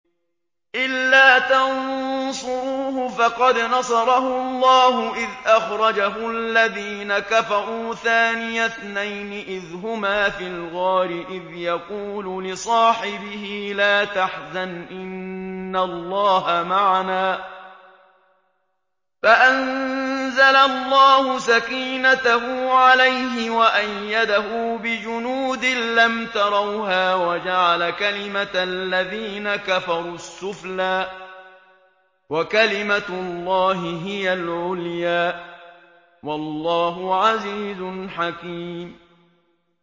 إِلَّا تَنصُرُوهُ فَقَدْ نَصَرَهُ اللَّهُ إِذْ أَخْرَجَهُ الَّذِينَ كَفَرُوا ثَانِيَ اثْنَيْنِ إِذْ هُمَا فِي الْغَارِ إِذْ يَقُولُ لِصَاحِبِهِ لَا تَحْزَنْ إِنَّ اللَّهَ مَعَنَا ۖ فَأَنزَلَ اللَّهُ سَكِينَتَهُ عَلَيْهِ وَأَيَّدَهُ بِجُنُودٍ لَّمْ تَرَوْهَا وَجَعَلَ كَلِمَةَ الَّذِينَ كَفَرُوا السُّفْلَىٰ ۗ وَكَلِمَةُ اللَّهِ هِيَ الْعُلْيَا ۗ وَاللَّهُ عَزِيزٌ حَكِيمٌ